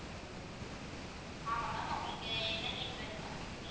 ஆமா ma'am உங்களுக்கு என்ன help வேணும் ma'am